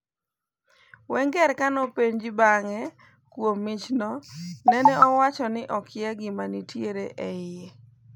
Wenger kane openji bang'e kuom michno nene owacho ni akiya gima nitiere eiye.